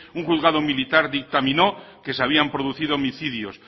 un juzgado militar dictaminó que se habían producido homicidios